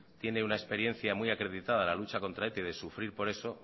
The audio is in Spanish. tiene una experiencia muy acreditada de la lucha contra eta y de sufrir por eso